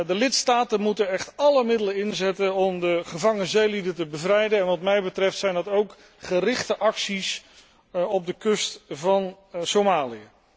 De lidstaten moeten echt alle middelen inzetten om gevangen zeelieden te bevrijden en wat mij betreft zijn dat ook gerichte acties op de kust van Somalië.